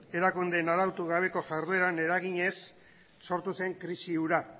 arautu gabeko jardueran eraginez sortu zen krisi hura